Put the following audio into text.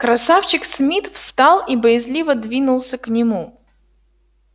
красавчик смит встал и боязливо двинулся к нему